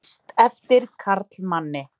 Lýst eftir karlmanni